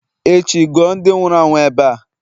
echi, guo ndi nwuru anwu ebe a!